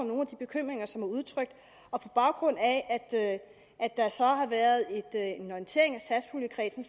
nogle af de bekymringer som udtrykt og på baggrund af at der så har været en orientering af satspuljekredsen